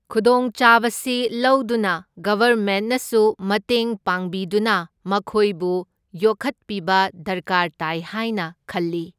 ꯈꯨꯗꯣꯡꯆꯥꯕꯁꯤ ꯂꯧꯗꯨꯅ ꯒꯚꯔꯃꯦꯟꯠꯅꯁꯨ ꯃꯇꯦꯡ ꯄꯥꯡꯕꯤꯗꯨꯅ ꯃꯈꯣꯏꯕꯨ ꯌꯣꯛꯈꯠꯄꯤꯕ ꯗꯔꯀꯥꯔ ꯇꯥꯏ ꯍꯥꯏꯅ ꯈꯜꯂꯤ꯫